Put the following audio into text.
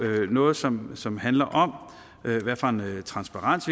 noget som som handler om transparens